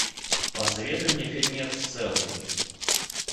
посоветуй мне фильмец селфи